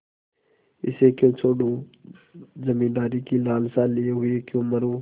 इसे क्यों छोडूँ जमींदारी की लालसा लिये हुए क्यों मरुँ